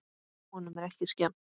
Honum er ekki skemmt.